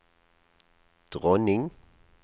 dronning